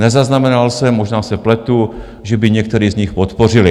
Nezaznamenal jsem, možná se pletu, že by některý z nich podpořili.